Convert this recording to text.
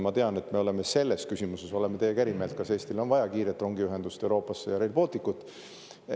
Ma tean, et me oleme teiega eri meelt selles küsimuses, kas Eestile on vaja kiiret rongiühendust Euroopaga ja Rail Balticut.